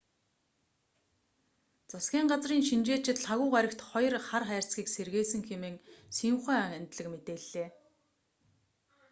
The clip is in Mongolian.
засгийн газрын шинжээчид лхагва гарагт хоёр хар хайрцагийг сэргээсэн хэмээн синьхуа агентлаг мэдээллээ